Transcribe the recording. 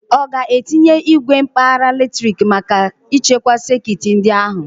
Ọ ga-etinye igwe mkpagha latrik maka ichekwa sekit ndị a ahụ?